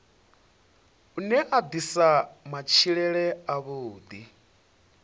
une wa ḓisa matshilele avhuḓi